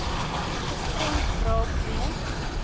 gestremd raak weens